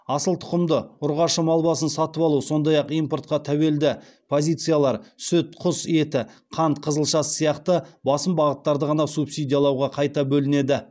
асыл тұқымды ұрғашы мал басын сатып алу сондай ақ импортқа тәуелді позициялар сүт құс еті қант қызылшасы сияқты басым бағыттарды ғана субсидиялауға қайта бөлінеді